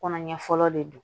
Kɔnɔ ɲɛ fɔlɔ de don